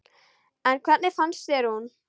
En hvernig fannst þér hún?